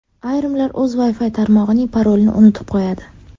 Ayrimlar o‘z Wi-Fi tarmog‘ining parolini unutib qo‘yadi.